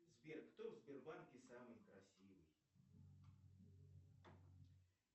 сбер кто в сбербанке самый красивый